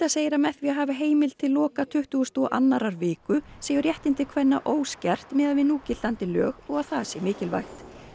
segir að með því að hafa heimild til loka tuttugustu og annarri viku séu réttindi kvenna óskert miðað við núgildandi lög og það sé mikilvægt